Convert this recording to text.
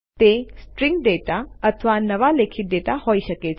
તે string data અથવા નવા લેખિત ડેટા હોઇ શકે છે